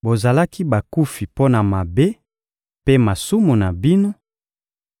Bozalaki bakufi mpo na mabe mpe masumu na bino,